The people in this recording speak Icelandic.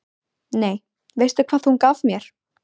Nei, veistu hvað hún gaf mér?